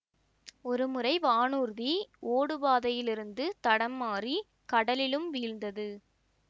ஒரு முறை வானூர்தி ஓடு பாதையிலிருந்து தடம் மாறி கடலிலும் வீழ்ந்தது